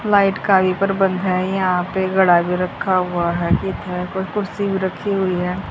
Light पर बंद है यहां पे गडा भी रखा हुआ है कोई कुर्सी भी रखी हुई है।